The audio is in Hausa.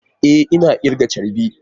E! Ina kirga charbi.